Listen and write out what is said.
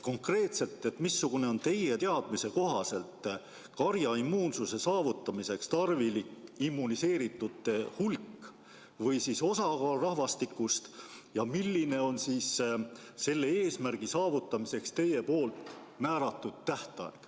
Konkreetselt: missugune on teie teadmise kohaselt karjaimmuunsuse saavutamiseks tarvilik immuniseeritute hulk või osakaal rahvastikus ja milline on selle eesmärgi saavutamiseks teie seatud tähtaeg?